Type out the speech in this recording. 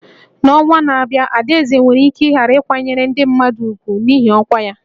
N'ọnwa na-abịa, Adaeze nwere ike ghara ịkwanyere ndị mmadụ ùgwù n'ihi ọkwa ya